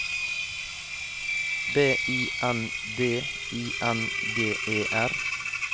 B I N D I N G E R